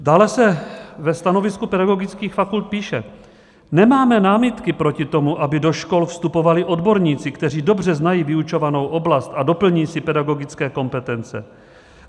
Dále se ve stanovisku pedagogických fakult píše: Nemáme námitky proti tomu, aby do škol vstupovali odborníci, kteří dobře znají vyučovanou oblast a doplní si pedagogické kompetence.